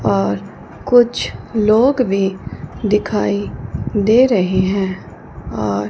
और कुछ लोग भी दिखाई दे रहे हैं और--